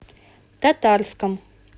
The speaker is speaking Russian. татарском